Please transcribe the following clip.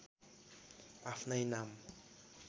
आफ्नै नाम